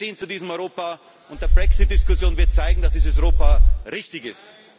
Wir stehen zu diesem Europa, und die Brexit Diskussion wird zeigen, dass dieses Europa richtig ist!